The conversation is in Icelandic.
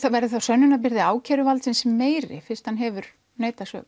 verður þá sönnunarbyrði ákæruvaldsins meiri fyrst hann hefur neitað sök